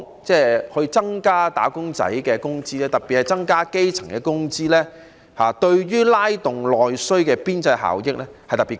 因此，增加"打工仔"的工資，特別是增加基層的工資，對於拉動內需的邊際效益特別高。